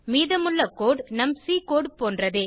மீதமுள்ள கோடு நம் C code போன்றதே